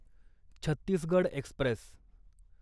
Chhattisgarh Express